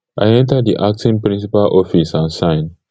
i enta di acting principal office and sign